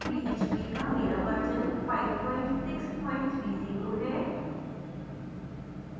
php का मेरा version 5630 है